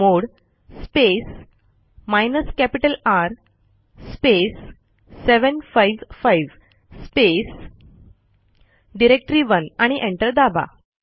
chmod space hyphen capital R space 755 space directory one आणि enter दाबा